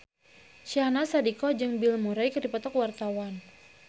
Syahnaz Sadiqah jeung Bill Murray keur dipoto ku wartawan